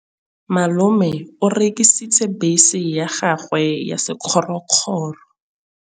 Malome o rekisitse bese ya gagwe ya sekgorokgoro.